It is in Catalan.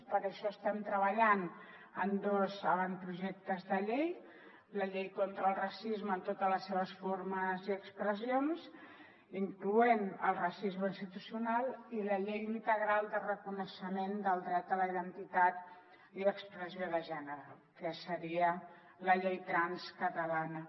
per això estem treballant en dos avantprojectes de llei la llei contra el racisme en totes les seves formes i expressions incloent hi el racisme institucional i la llei integral de reconeixement del dret a la identitat i expressió de gènere que seria la llei trans catalana